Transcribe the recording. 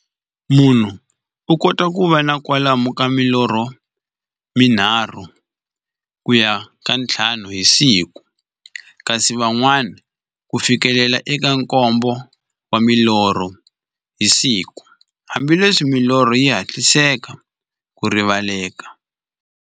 Munhu u kota ku va na kwalomu ka milorho mi nharhu ku ya ka ya nthlanu hi siku, kasi van'wana ku fikela eka nkombo wa milorho hi siku, hambileswi milorho yi hatlisaka ku rivaleka.